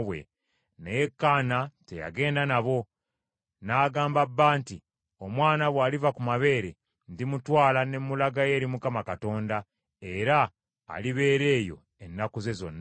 Naye Kaana teyagenda nabo. N’agamba bba nti, “Omwana bw’aliva ku mabeere , ndimutwala ne mulagayo eri Mukama Katonda, era alibeera eyo ennaku ze zonna.”